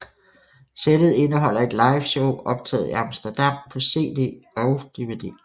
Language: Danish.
Sættet indeholder et liveshow optaget i Amsterdam på CD og DVD